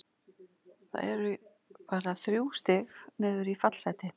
Það eru bara þrjú stig niður í fallsæti.